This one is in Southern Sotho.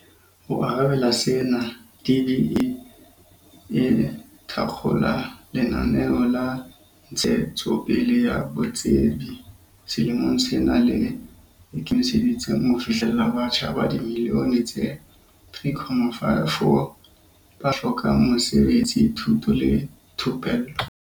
Ho arabela sena, DBE e thakgola lenaneo la ntshetsopele ya botsebi selemong sena le ikemiseditseng ho fihlella batjha ba dimillione tse3.4 ba hlokang mesebetsi, thuto le thupello.